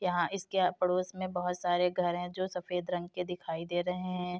यहाँ इसके पड़ोस में बहुत सारे घर हैं जो सफेद रंग के दिखाई दे रहे हैं।